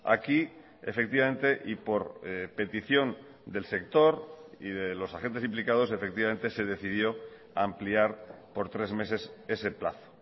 aquí efectivamente y por petición del sector y de los agentes implicados efectivamente se decidió ampliar por tres meses ese plazo